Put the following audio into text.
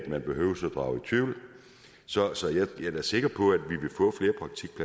man behøver drage i tvivl så så jeg er da sikker på